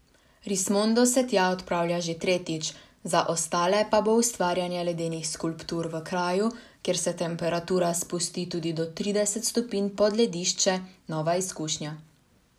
Rismondo se tja odpravlja že tretjič, za ostale pa bo ustvarjanje ledenih skulptur v kraju, kjer se temperatura spusti tudi do trideset stopinj pod ledišče, nova izkušnja.